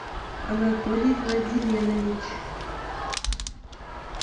анатолий владиленович